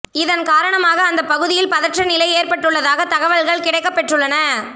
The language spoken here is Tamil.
இதன் காரணமாக அந்தப் பகுதியில் பதற்ற நிலை ஏற்பட்டுள்ளதாக தகவல்கள் கிடைக்கப்பெற்றள்ளன